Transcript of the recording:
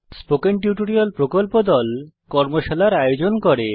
spoken tutorial প্রকল্প দল কর্মশালার আয়োজন করে